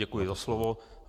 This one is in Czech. Děkuji za slovo.